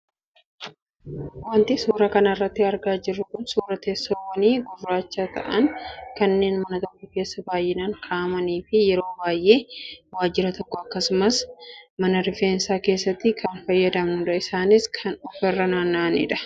Wanti suuraa kanarraa argaa jirru kun suuraa teessoowwan gurraacha ta'an kanneen mana tokko keessa baay'inaan kaa'amanii fi yeroo baay'ee waajjira hojii akkasumas mana rifeensaa keessatti itti fayyadamnudha. Isaanis kan ofirra naanna'anidha.